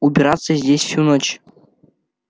убираться здесь всю ночь